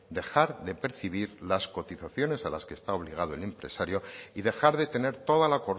dejar de percibir las cotizaciones a las que está obligado el empresario y dejar de tener toda la